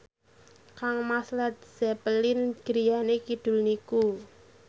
kangmas Led Zeppelin griyane kidul niku